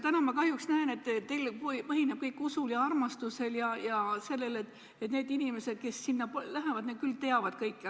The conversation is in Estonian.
Täna ma kahjuks näen, et teil põhineb kõik usul ja armastusel ja sellel, et need inimesed, kes sinna lähevad, teavad kõike.